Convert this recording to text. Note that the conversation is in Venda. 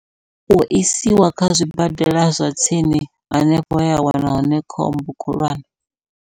U isiwa kha zwibadela zwa tsini hanefho hea wana hone khombo khulwane.